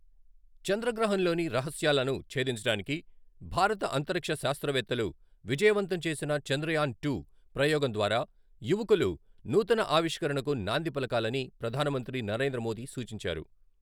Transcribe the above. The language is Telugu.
చంద్రగ్రహం లోని రహస్యాలను ఛేదించడానికి భారత అంతరిక్ష శాస్త్రవేత్తలు విజయవంతం చేసిన చంద్రయాన్ టు ప్రయోగం ద్వారా యువకులు నూతన ఆవిష్కరణకు నాంది పలకాలని ప్రధానమంత్రి నరేంద్రమోదీ సూచించారు.